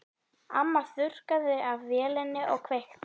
Amma þurrkaði af vélinni og kveikti.